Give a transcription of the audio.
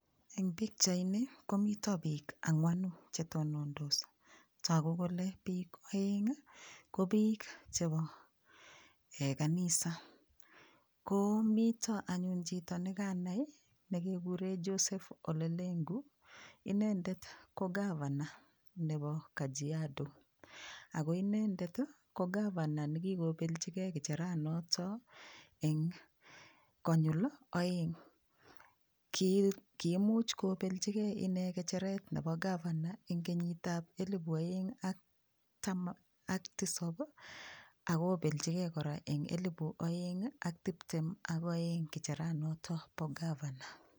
Eng pikchaini komito piik angwanu chetonondos toku kole piik oenk ko piik chepo kanisa komito anyun chito nekanai nekekure Joseph Ole Lenku inendet ko governor nebo kajiado Ako inendet ko governor ne kikobeljigei kicheranoto konyul oeng kiimuch kobeljigei ine kicheret nebo governor eng kenyit ab elibu oeng ak taman ak tisop akobeljigei kora eng kenyit ab elibu oeng ak tiptem akoeng kicheranoto bo governor